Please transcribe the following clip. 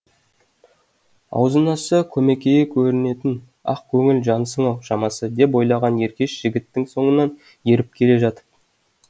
аузын ашса көмекейі көрінетін ақ көңіл жансың ау шамасы деп ойлаған еркеш жігіттің соңынан еріп келе жатып